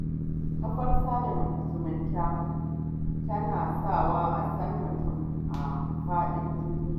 kafar sada zumunta tana sawa a san mutum a faɗin duniya.